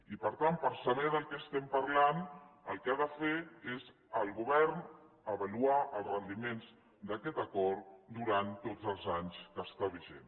i per tant per saber de què estem parlant el que ha de fer és el govern avaluar els rendiments d’aquest acord durant tots els anys que està vigent